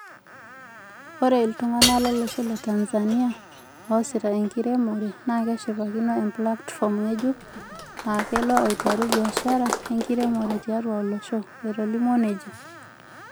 "Oree iltunganak lolosho le Tanzania oosita eramatare naakeshipakino emplatifom ng'ejuk aakelo aretu biashara enkiremore tiatu olosho." Etolimuo nejia.